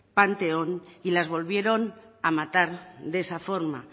panteón y las volvieron a matar de esa forma